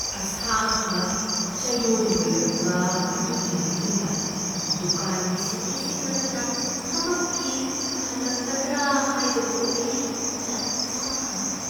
ꯑꯁꯥꯡꯕ ꯆꯌꯣꯜ ꯂꯣꯢꯔꯛꯄ ꯑꯗꯨꯒꯤ ꯃꯇꯨꯡꯗ ꯗꯨꯀꯥꯟꯒꯤ ꯁꯤꯟꯃꯤꯁꯤꯡ ꯑꯗꯨꯅ ꯊꯕꯛꯀꯤ ꯍꯜꯂꯛꯀꯗ꯭ꯔ ꯍꯥꯢꯕꯗꯨ ꯑꯩ ꯆꯞ ꯆꯥꯅꯥ ꯈꯪꯗꯦ ꯫